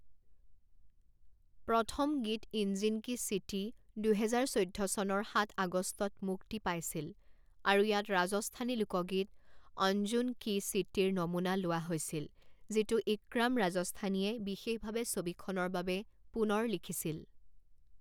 প্ৰথম গীত ইঞ্জিন কি ছীতি দুহেজাৰ চৈধ্য চনৰ সাত আগষ্টত মুক্তি পাইছিল, আৰু ইয়াত ৰাজস্থানী লোকগীত অঞ্জুন কি ছীতিৰ নমুনা লোৱা হৈছিল যিটো ইক্ৰাম ৰাজস্থানীয়ে বিশেষভাৱে ছবিখনৰ বাবে পুনৰ লিখিছিল।